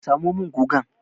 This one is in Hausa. Samo min gugan!